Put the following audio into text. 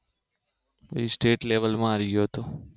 હું સ્ટેટ લેવલમાં આવી ગયો તો